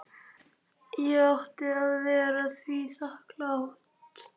Ég átti að vera því þakklát.